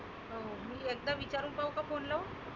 हो मी एकदा विचारु का phone लावून?